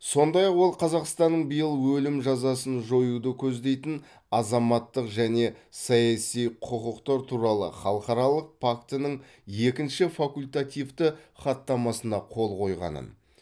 сондай ақ ол қазақстанның биыл өлім жазасын жоюды көздейтін азаматтық және саяси құқықтар туралы халықаралық пактінің екінші факультативті хаттамасына қол қойғанын